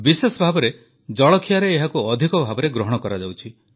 ବିଶେଷ ଭାବେ ଜଳଖିଆରେ ଏହାକୁ ଅଧିକ ଭାବେ ଗ୍ରହଣ କରାଯାଉଛି